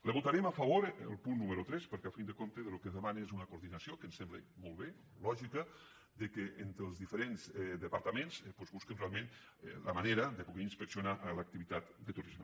li votarem a favor el punt número tres perquè al cap i a la fi el que demana és una coordinació que ens sembla molt bé lògica que entre els diferents departaments doncs busquen realment la manera de poder inspecci·onar l’activitat de turisme